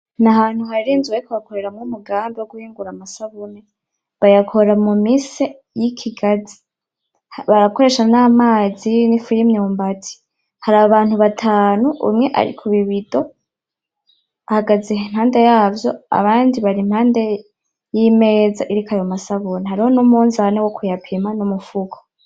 N'ahantu hari inzu bariko bakoreramwo umugambi woguhingura amasabuni. Bayakora mu mise yikigazi. Barakoresha namazi nifu y'imyumbati. Hari abantu batanu umwe ari ku bibido, ahagaze impande yavyo abandi bari impande yimeza iriko ayo masabuni. Hariho numunzane wokuyapima numufuko.